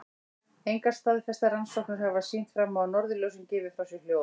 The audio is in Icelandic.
Engar staðfestar rannsóknir hafa sýnt fram á að norðurljósin gefi frá sér hljóð.